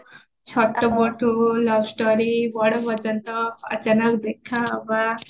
ବଡ ପର୍ଯ୍ୟନ୍ତ ଅଚାନକ ଦେଖା ହବବା